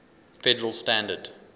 federal standard